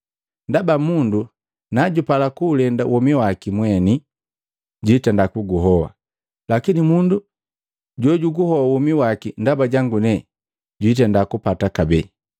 Ndaba mundu na jupala kuulenda womi waki mweni, jwitenda kuguhoa, lakini mundu jo juguhoa womi waki ndaba jangu, jwitenda kugupata kabee.